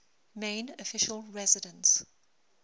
main official residence